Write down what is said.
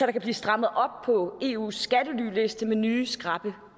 kan blive strammet op på eus skattelyliste med nye skrappe